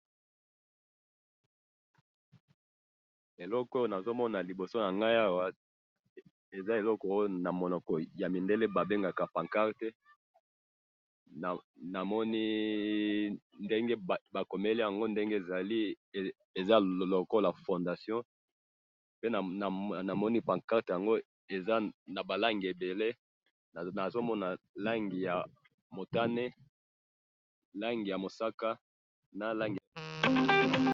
Eloko oyo nazomona liboso nanga awa, eza eloko oyo naminoko yamindele babengaka pancarte, namoni ndenge bakomeli yango ndenge ezali, eza lokola fondation, pe namoni pancarte yango eza nabalangi ebele, nazomona langi yamotane, langi yamusaka, nalangi yabozinga